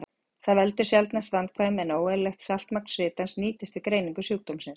Það veldur sjaldnast vandkvæðum, en óeðlilegt saltmagn svitans nýtist við greiningu sjúkdómsins.